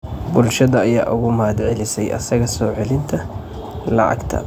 Bulshada ayaa uga mahadcelisay asaga soo celinta lacagta.